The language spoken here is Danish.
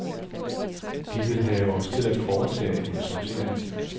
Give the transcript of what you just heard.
De vil have os til at foretage en sortering.